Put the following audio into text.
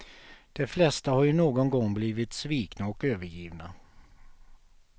De flesta har ju någon gång blivit svikna och övergivna.